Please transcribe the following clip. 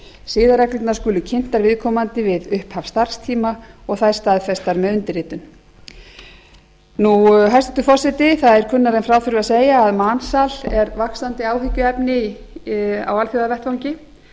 siðareglurnar skulu kynntar viðkomandi við upphaf starfstíma og þær staðfestar með undirritun hæstvirtur forseti það er kunnara en frá þurfi að segja að mansal er vaxandi áhyggjuefni á alþjóðavettvangi